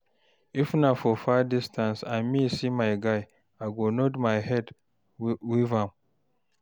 if na far distance and me see my guy, I go nod my head con wave am